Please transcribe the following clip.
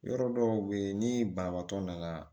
Yɔrɔ dɔw bɛ yen ni banabaatɔ nana